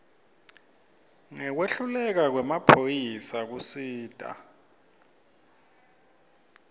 ngekwehluleka kwemaphoyisa kusita